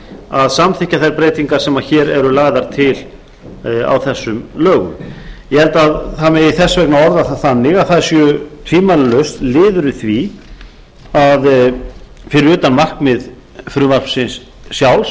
að samþykkja þær breytingar sem hér eru lagðar til á þessum lögum ég held að það megi þess vegna orða það þannig að þær séu tvímælalaust liður í því fyrir utan markmið frumvarpsins sjálfs